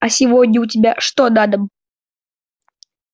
а сегодня у тебя что на дом